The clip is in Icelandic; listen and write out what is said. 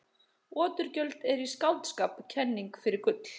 Oturgjöld eru í skáldskap kenning fyrir gull.